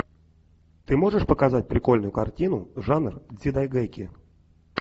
ты можешь показать прикольную картину жанр дзидайгэки